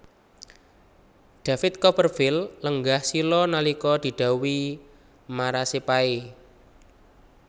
David Copperfield lenggah sila nalika didhawuhi marasepahe